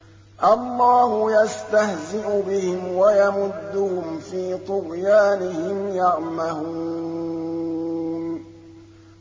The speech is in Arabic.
اللَّهُ يَسْتَهْزِئُ بِهِمْ وَيَمُدُّهُمْ فِي طُغْيَانِهِمْ يَعْمَهُونَ